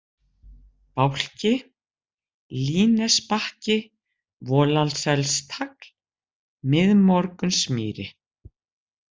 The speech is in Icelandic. Bálki, Línnesbakki, Volaselstagl, Miðmorgunsmýri